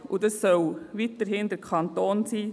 Und das soll weiterhin der Kanton tun.